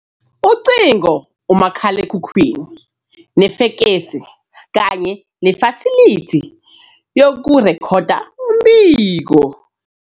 Ucingo, umakhalekhukhwini nefekesi kanye nefasilithi yokurekhoda umbiko.